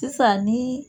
Sisan ni